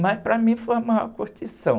Mas, para mim, foi a maior curtição.